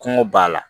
Kɔngɔ b'a la